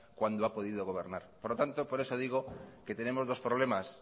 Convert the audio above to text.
cuando ha podido gobernar por lo tanto por eso digo que tenemos dos problemas